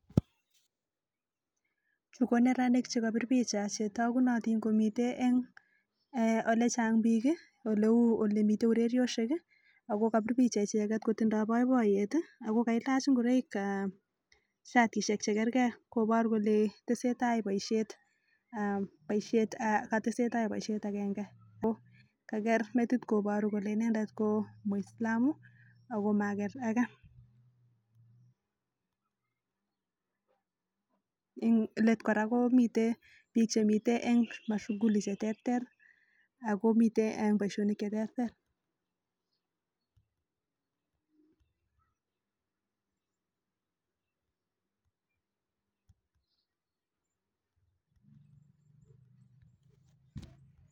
Chu koneranik chekapir picha chetagunotin komiten eng olechang biik oleu olemite oreriosiek, ago kapir picha icheget kotiche boiboiyet ago kailach ingoroik aa, siatisiek che kerge kobor kole tesetai boisiet agenge. Ko kager metitit kobor kole inendet ko muislamu ago mager age. Eng let kora komite biik che mite eng mashulicheterter ago mite eng boisionik cheterter.